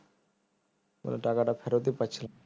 টাকাটা ফেরতই পাচ্ছিলাম